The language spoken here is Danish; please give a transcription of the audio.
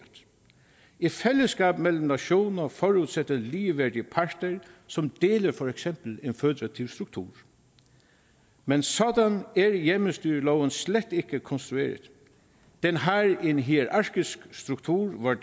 et fællesskab mellem nationer forudsætter ligeværdige parter som deler for eksempel en føderativ struktur men sådan er hjemmestyreloven slet ikke konstrueret den har en hierarkisk struktur hvor